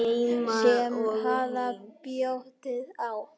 Sama hvað bjátaði á.